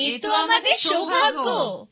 এ তো আমাদের সৌভাগ্য